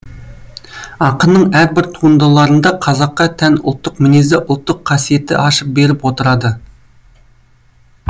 ақынның әрбір туындыларында қазаққа тән ұлттық мінезді ұлттық қасиетті ашып беріп отырады